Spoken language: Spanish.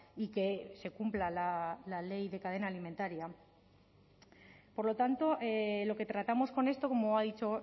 y que se cumpla la ley de cadena alimentaria por lo tanto lo que tratamos con esto como ha dicho